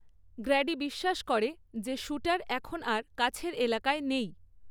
Grady বিশ্বাস করে যে শ্যুটার এখন আর কাছের এলাকায় নেই।